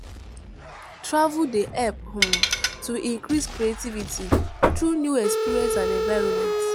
Travel dey help um to increase creativity through new experience and environment.